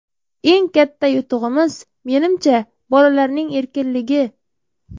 Eng katta yutug‘imiz, menimcha, bolalarning erkinligi.